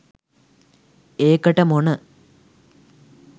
ඒකට මොන